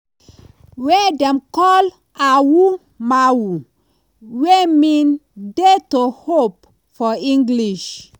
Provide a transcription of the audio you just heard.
wey dem call "awu-mawu" wey mean "dare to hope" for english.